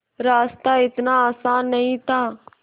रास्ता इतना आसान नहीं था